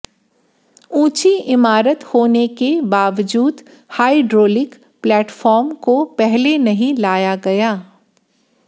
ऊंची इमारत होेने के बावजूद हाइड्रोलिक प्लेटफॉर्म को पहले नहीं लाया गया